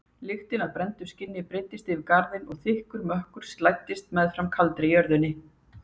Lykt af brenndu skinni breiddist yfir garðinn og þykkur mökkur slæddist meðfram kaldri jörðinni.